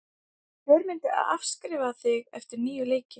Hver myndir afskrifa þig eftir níu leiki?